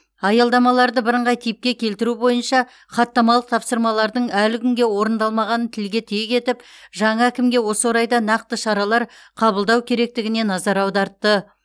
аялдамаларды бірыңғай типке келтіру бойынша хаттамалық тапсырмалардың әлі күнге орындалмағанын тілге тиек етіп жаңа әкімге осы орайда нақты шаралар қабылдау керектігіне назар аудартты